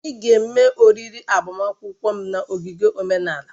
Anyị ga-eme oriri agbamakwụkwọ m na ogige omenala